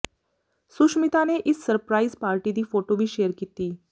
ਸੁਸ਼ਮਿਤਾ ਨੇ ਇਸ surprise party ਦੀ ਫੋਟੋ ਵੀ ਸ਼ੇਅਰ ਕੀਤੀ